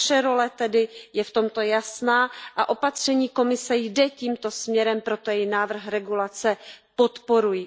Naše role je v tomto tedy jasná a opatření Komise jde tímto směrem, proto její návrh regulace podporuji.